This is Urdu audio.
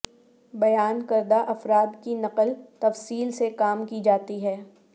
بیان کردہ افراد کی نقل تفصیل سے کام کی جاتی ہے